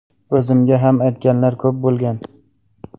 O‘zimga ham aytganlar ko‘p bo‘lgan.